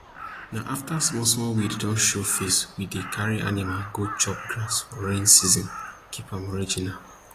na afta small small weed don show face we dey carry animal go chop grass for rain season keep am original